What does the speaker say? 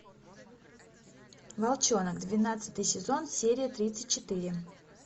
волчонок двенадцатый сезон серия тридцать четыре